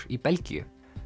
í Belgíu